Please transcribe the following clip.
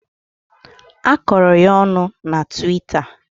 A kọrọ ya ọnụ na tiwita.